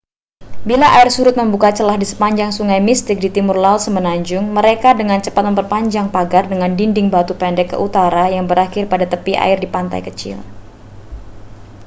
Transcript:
bila air surut membuka celah di sepanjang sungai mystic di timur laut semenanjung mereka dengan cepat memperpanjang pagar dengan dinding batu pendek ke utara yang berakhir pada tepi air di pantai kecil